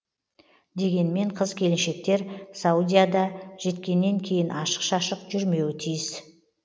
дегенмен қыз келіншектер саудияда жеткеннен кейін ашық шашық жүрмеуі тиіс